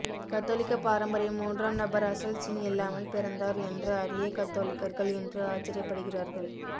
கத்தோலிக்க பாரம்பரியம் மூன்றாம் நபர் அசல் சின் இல்லாமல் பிறந்தார் என்று அறிய கத்தோலிக்கர்கள் இன்று ஆச்சரியப்படுகிறார்கள்